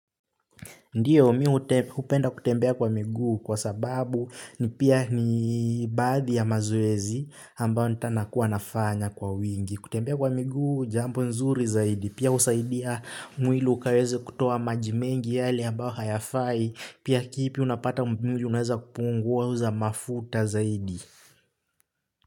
Ndiyo miu upenda kutembea kwa migu kwa sababu ni pia ni badhi ya mazuezi ambao nita nakuwa nafanya kwa wingi. Kutembea kwa miguu jambo nzuri zaidi. Pia usaidia mwili ukaweze kutuo maji mengi yali ambao hayafai. Pia kipi unapata mpimuji unweza kupunguwa huza mafuta zaidi.